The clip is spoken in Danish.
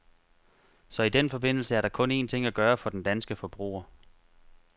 Så i den forbindelse er der kun en ting at gøre for den danske forbruger.